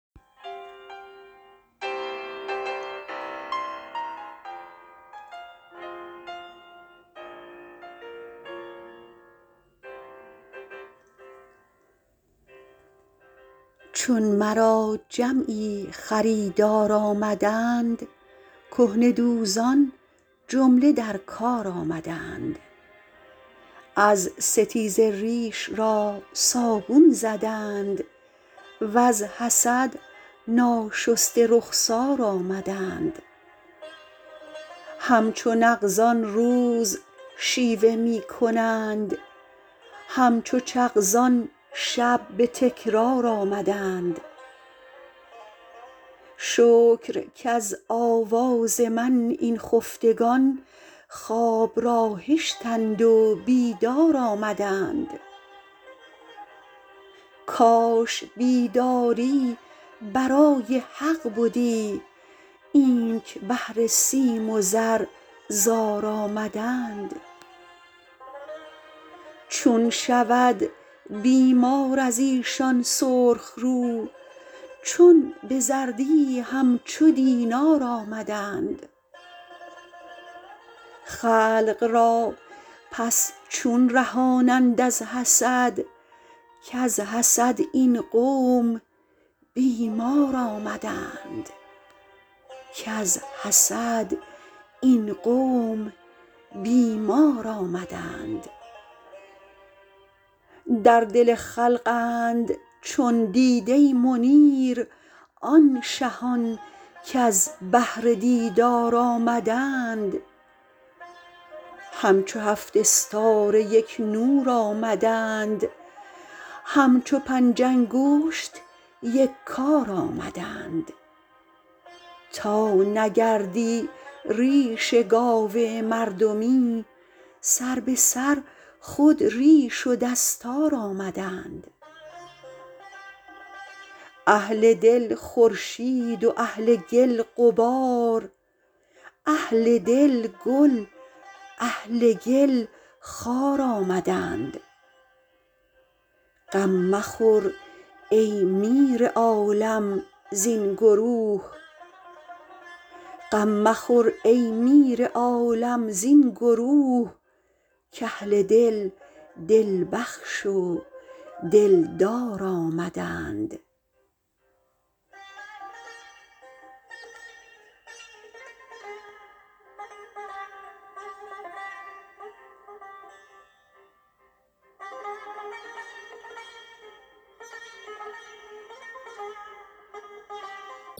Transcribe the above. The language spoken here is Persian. چون مرا جمعی خریدار آمدند کهنه دوزان جمله در کار آمدند از ستیزه ریش را صابون زدند وز حسد ناشسته رخسار آمدند همچو نغزان روز شیوه می کنند همچو چغزان شب به تکرار آمدند شکر کز آواز من این خفتگان خواب را هشتند و بیدار آمدند کاش بیداری برای حق بدی اینک بهر سیم و زر زار آمدند چون شود بیمار از ایشان سرخ رو چون به زردی همچو دینار آمدند خلق را پس چون رهانند از حسد کز حسد این قوم بیمار آمدند در دل خلقند چون دیده منیر آن شهان کز بهر دیدار آمدند همچو هفت استاره یک نور آمدند همچو پنج انگشت یک کار آمدند تا نگردی ریش گاو مردمی سر به سر خود ریش و دستار آمدند اهل دل خورشید و اهل گل غبار اهل دل گل اهل گل خار آمدند غم مخور ای میر عالم زین گروه کاهل دل دل بخش و دلدار آمدند